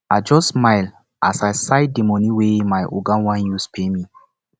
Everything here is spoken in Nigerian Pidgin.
i just smile as i sight dey moni wey my oga wan use pay me